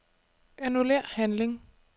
Annullér handling.